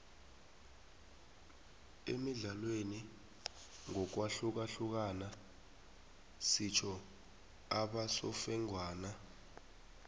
emidlalweni ngokwahlukahlukana sitho abasofengwana